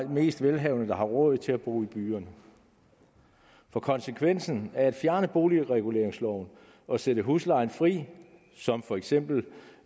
mest velhavende der har råd til at bo i byerne konsekvensen af at fjerne boligreguleringsloven og sætte huslejen fri som for eksempel